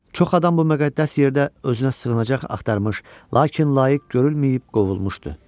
Çox adam bu müqəddəs yerdə özünə sığınacaq axtarmış, lakin layiq görülməyib qovulmuşdu.